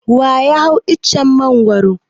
Wa ya hau icen Mangwaro?